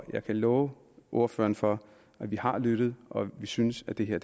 jeg kan love ordføreren for at vi har lyttet og vi synes at det her